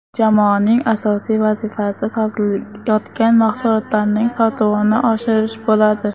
Jamoaning asosiy vazifasi sotilayotgan mahsulotlarning sotuvini oshirish bo‘ladi.